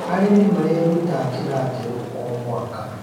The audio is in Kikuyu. Arĩmĩ marerũta njĩra njerũ o mwaka